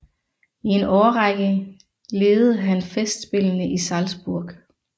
I en årrække ledede han festspillene i Salzburg